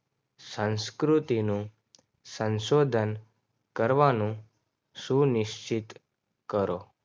સંસ્કૃતિનો સંશોધન કરવાનું સુનિશ્ચિત કરો.